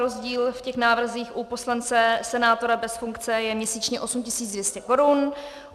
Rozdíl v těch návrzích u poslance, senátora bez funkce, je měsíčně 8 200 korun.